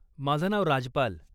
माझं नाव राजपाल.